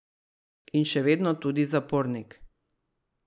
In še vedno tudi zapornik.